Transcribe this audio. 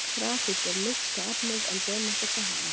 Grafít er mýksta efnið en demantur það harðasta.